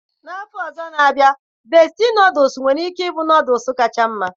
N'afọ ọzọ na abịa besti nọọdụs nwere ike ịbụ nọọdụs kacha mma